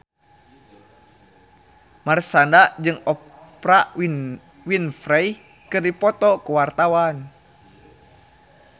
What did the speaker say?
Marshanda jeung Oprah Winfrey keur dipoto ku wartawan